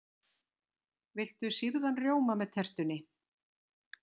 Viltu sýrðan rjóma með tertunni?